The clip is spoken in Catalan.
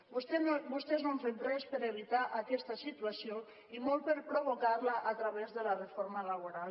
vostès no han fet res per a evitar aquesta situació i molt per a provocar la a través de la reforma laboral